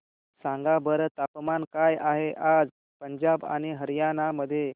सांगा बरं तापमान काय आहे आज पंजाब आणि हरयाणा मध्ये